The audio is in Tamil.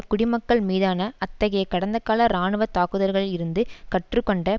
குடிமக்கள் மீதான அத்தகைய கடந்தகால இராணுவ தாக்குதல்களிலிருந்து கற்றுக்கொண்ட